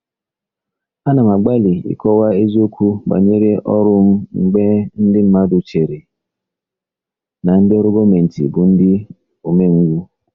Ana m agbalị ịkọwa eziokwu banyere ọrụ m mgbe ndị mmadụ chere na ndị ọrụ gọọmentị bụ ndị umengwụ.